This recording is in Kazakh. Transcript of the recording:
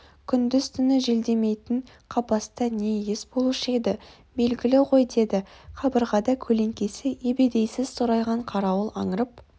күндіз-түні желдемейтін қапаста не иіс болушы еді белгілі ғой деді қабырғада көлеңкесі ебедейсіз сорайған қарауыл аңырып